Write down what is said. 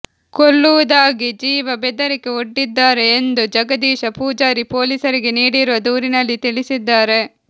ಕೊಲ್ಲುವುದಾಗಿ ಜೀವ ಬೆದರಿಕೆ ಒಡ್ಡಿದ್ದಾರೆ ಎಂದು ಜಗದೀಶ ಪೂಜಾರಿ ಪೊಲೀಸರಿಗೆ ನೀಡಿರುವ ದೂರಿನಲ್ಲಿ ತಿಳಿಸಿದ್ದಾರೆ